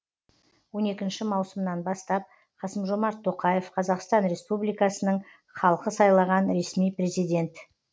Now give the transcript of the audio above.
он екінші маусымнан бастап қасым жомарт тоқаев қазақстан республикасының халқы сайлаған ресми президент